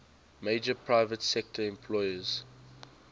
major private sector employers